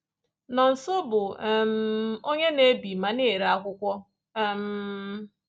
Nonso bụ um onye na-ebi ma na-ere akwụkwọ um.